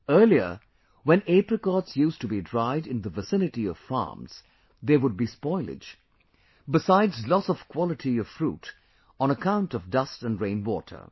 Earlier, when apricots used to be dried in the vicinity of farms, there would be spoilage, besides loss of quality of fruit on account of dust & rainwater